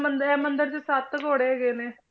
ਮੰਦਿਰ ਇਹ ਮੰਦਿਰ ਦੇ ਸੱਤ ਘੋੜੇ ਹੈਗੇ ਨੇ।